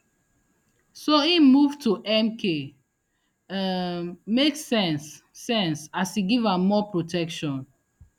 so im move to mk um make sense sense as e give am more protection